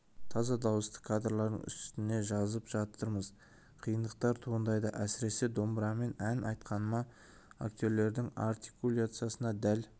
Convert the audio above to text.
таза дауысты кадрлардың үстіне жазып жатырмыз қиындықтар туындайды әсіресе домбырамен ән айтқанымда актердің артикуляциясына дәл